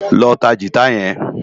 Lò tá gitá yèn